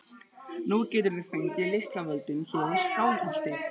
Nú geturðu fengið lyklavöldin hér í Skálholti!